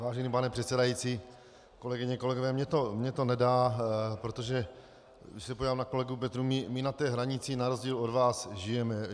Vážený pane předsedající, kolegyně, kolegové, mně to nedá, protože když se podívám na kolegu Petrů, my na té hranici na rozdíl od vás žijeme.